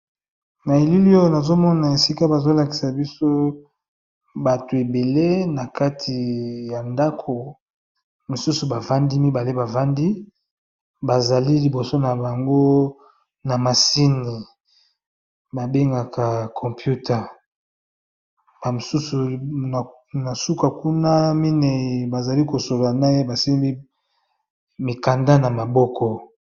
Na elili oyo nazomona esika bazolakisa biso bato ebele na kati ya ndako mosusu bavandi mibale bavandi bazali liboso na bango na masini babengaka compute mosusu na suka kuna minei bazali kosola na ye basimbi mikanda na maboko.